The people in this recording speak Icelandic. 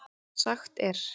Sagt er